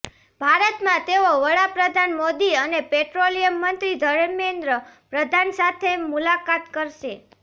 ભારતમાં તેઓ વડા પ્રધાન મોદી અને પેટ્રોલિયમ મંત્રી ધર્મેન્દ્ર પ્રધાન સાથે મુલાકાત કરશે